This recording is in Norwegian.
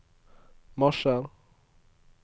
marsjer